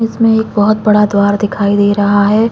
इसमें एक बहुत बड़ा द्वार दिखाई दे रहा है।